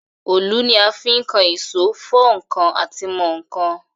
Òlù ni a fi ń kan èsó, fọ́ ǹkan àti mọ ǹkan.